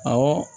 Awɔ